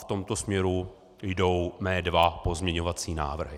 V tomto směru jdou mé dva pozměňovací návrhy.